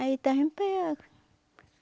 Aí estava em pé.